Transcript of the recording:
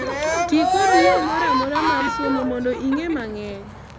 tii kod yoo moramora mar somo mondo ing'ee mang'eny